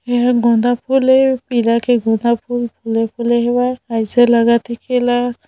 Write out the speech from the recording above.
यह गोंदा फुल ए पीला के गोंदा फुल एसा लगत हे के एला